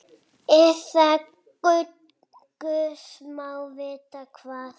Eða guð má vita hvað.